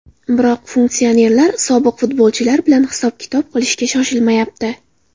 Biroq funksionerlar sobiq futbolchilar bilan hisob-kitob qilishga shoshilmayapti.